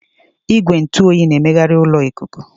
Igwe ntụ oyi na-emegharị ụlọ ikuku.